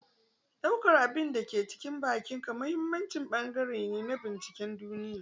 Ɗaukar duk abin da ke cikin bakinka muhimmin bangare ne na binciken duniya.